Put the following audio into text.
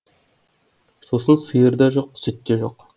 сосын сиыр да жоқ сүт те жоқ